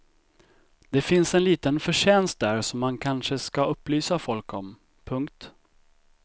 Det finns en liten förtjänst där som man kanske ska upplysa folk om. punkt